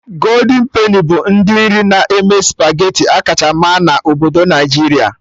Goldin peni bụ ndị nri na-eme spageti akacha ma na obodo Naijiria